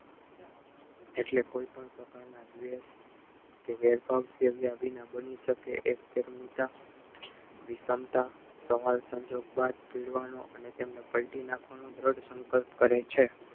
એટલે કોઈ પણ પ્રકારના બની શકે સવાલ સંજોગ બાદ તેમને પલટી નાખવાનો સંકલ્પ કરે છે